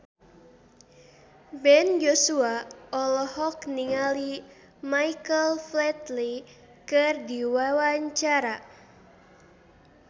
Ben Joshua olohok ningali Michael Flatley keur diwawancara